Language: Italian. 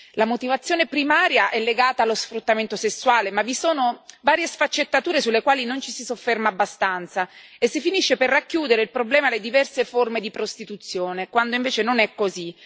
La motivazione primaria è legata allo sfruttamento sessuale, ma vi sono varie sfaccettature sulle quali non ci si sofferma abbastanza e si finisce per circoscrivere il problema alle diverse forme di prostituzione, quando invece non è così.